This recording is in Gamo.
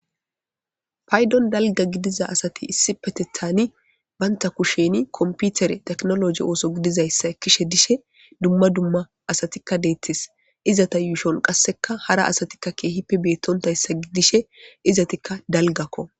paydon dalga gidiza asati issi petethani banta kusheni komputere teknologi ooso gidizayssa ekishe dishe dumma dumma asatikka deettis izata yuushon qasseka hara asatikka keehipe beettontayssa gidishe izatikka dalgakko